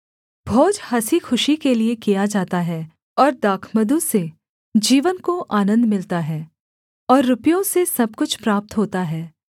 भोज हँसी खुशी के लिये किया जाता है और दाखमधु से जीवन को आनन्द मिलता है और रुपयों से सब कुछ प्राप्त होता है